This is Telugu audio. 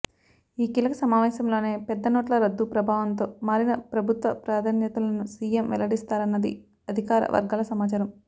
ఈ కీలక సమావేశంలోనే పెద్ద నోట్ల రద్దు ప్రభావంతో మారిన ప్రభుత్వ ప్రాధాన్యతలను సీఎం వెల్లడిస్తారన్నది అధికార వర్గాల సమాచారం